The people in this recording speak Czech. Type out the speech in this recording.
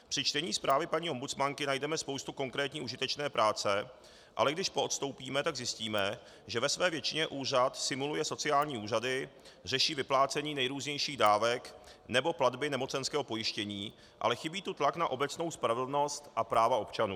Při čtení zprávy paní ombudsmanky najdeme spoustu konkrétní užitečné práce, ale když poodstoupíme, tak zjistíme, že ve své většině úřad simuluje sociální úřady, řeší vyplácení nejrůznějších dávek nebo platby nemocenského pojištění, ale chybí tu tlak na obecnou spravedlnost a práva občanů.